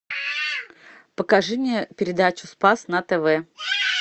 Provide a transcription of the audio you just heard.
покажи мне передачу спас на тв